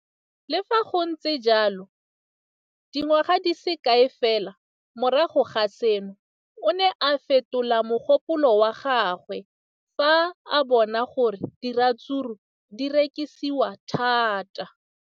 Le fa go le jalo, dingwaga di se kae fela morago ga seno, o ne a fetola mogopolo wa gagwe fa a bona gore diratsuru di rekisiwa thata.